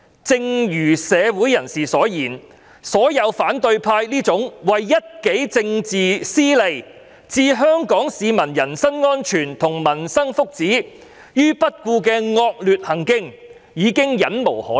正如社會人士所言，反對派這種為一己政治私利置香港市民人身安全和民生福祉於不顧的惡劣行徑，已經令人'忍無可忍'。